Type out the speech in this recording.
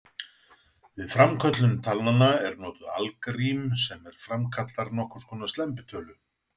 Við framköllun talnanna er notað algrím sem framkallar nokkurs konar slembitölu.